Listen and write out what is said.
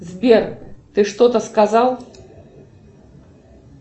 сбер ты что то сказал